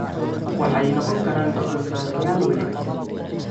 Waxay noqon karaan go'aan-qaadayaal wanaagsan.